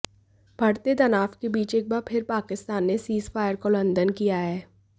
बढ़ते तनाव के बीच एक बार फिर पाकिस्तान ने सीज फायर का उल्लघंन किया है